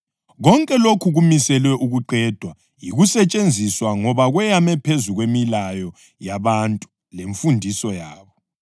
Konke lokhu kumiselwe ukuqedwa yikusetshenziswa ngoba kweyame phezu kwemilayo yabantu lemfundiso yabo.